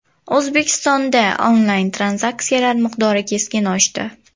O‘zbekistonda onlayn-tranzaksiyalar miqdori keskin oshdi.